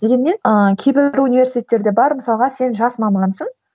дегенмен ыыы кейбір университеттерде бар мысалға сен жас мамансың